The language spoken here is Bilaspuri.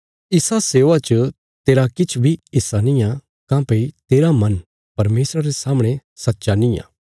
इसा सेवा च तेरा किछ बी हिस्सा नींआ काँह्भई तेरा मन परमेशरा रे सामणे सच्चा नींआ